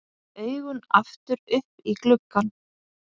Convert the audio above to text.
Augun aftur upp í gluggann.